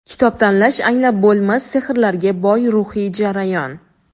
Kitob tanlash — anglab bo‘lmas sehrlarga boy ruhiy jarayon.